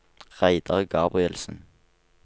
Reidar Gabrielsen